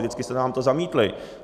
Vždycky jste nám to zamítli.